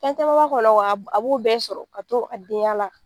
Fɛncaman b'a kɔnɔ wa a b'o bɛɛ sɔrɔ ka to a denya la.